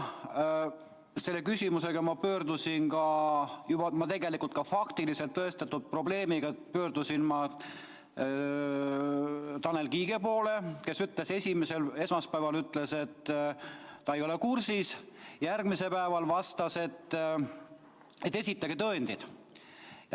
Selle küsimusega, juba tegelikult ka faktiliselt tõestatud probleemiga pöördusin ma Tanel Kiige poole, kes esmaspäeval ütles, et ta ei ole kursis, järgmisel päeval vastas, et esitage tõendid.